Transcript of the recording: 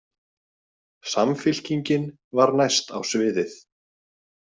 Samfylkingin var næst á sviðið.